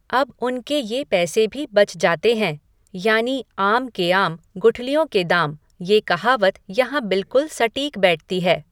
अब उनके ये पैसे भी बच जाते है यानि आम के आम, गुठलियों के दाम, ये कहावत यहाँ बिल्कुल सटीक बैठती है।